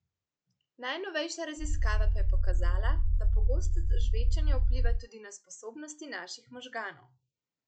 Najnovejša raziskava pa je pokazala, da pogostost žvečenja vpliva tudi na sposobnosti naših možganov.